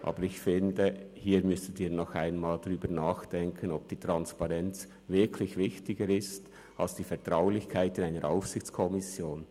Aber ich finde, hier müssten Sie noch einmal darüber nachdenken, ob die Transparenz wirklich wichtiger ist als die Vertraulichkeit einer Aufsichtskommission.